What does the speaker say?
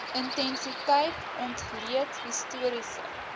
intensiteit ontleed historiese